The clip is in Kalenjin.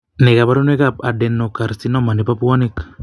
Nee kabarunoikab Adenocarcinoma nebo puanik?